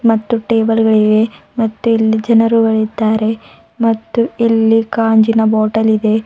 ಮತ್ತು ಟೇಬಲ್ಗಳಿವೆ ಮತ್ತಿಲ್ಲಿ ಜನರು ಇದ್ದಾರೆ ಮತ್ತು ಇಲ್ಲಿ ಗಾಜಿನ ಬಾಟಲ್ ಇದೆ.